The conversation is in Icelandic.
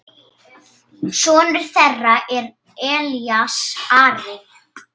Sonur þeirra er Elías Ari.